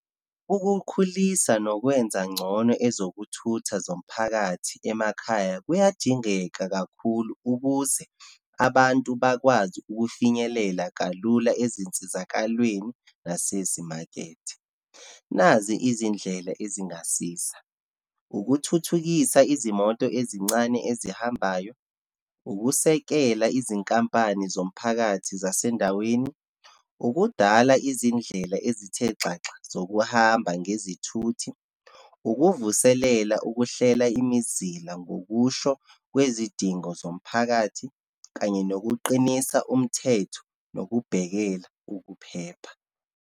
Ukukhulisa nokwenza ngcono ezokuthutha zomphakathi emakhaya kuyadingeka kakhulu, ukuze abantu bakwazi ukufinyelela kalula ezinsizakalweni nasezimakethe. Nazi izindlela ezingasiza, ukuthuthukisa izimoto ezincane ezihambayo, ukusekela izinkampani zomphakathi zasendaweni, ukudala izindlela ezithe xaxa zokuhamba ngezithuthi, ukuvuselela ukuhlela imizila ngokusho kwizidingo zomphakathi, kanye nokuqinisa umthetho, nokubhekela ukuphepha.